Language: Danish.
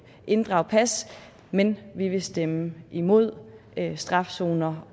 inddrage pas men vi vil stemme imod strafzoner